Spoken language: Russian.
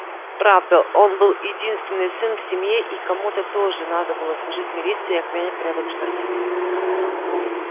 правда он был единственный сын в семье и кому-то же надо было служить в милиции и охранять порядок в штате